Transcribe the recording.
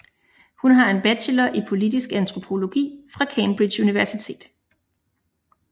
Hun har en bachelor i politisk antropologi fra Cambridge Universitet